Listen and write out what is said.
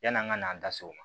Yan'an ka an da so